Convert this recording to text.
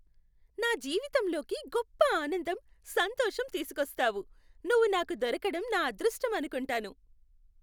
నా జీవితంలోకి గొప్ప ఆనందం, సంతోషం తీసుకొస్తావు. నువ్వు నాకు దొరకటం నా అదృష్టం అనుకుంటాను.